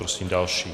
Prosím další.